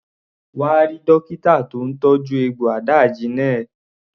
Come and see the doctor treating your wound.